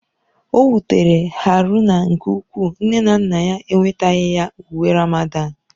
O wutere Haruna nke ukwuu nne na nna ya enwetaghị ya uwe Ramadan.